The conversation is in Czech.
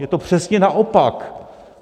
Je to přesně naopak.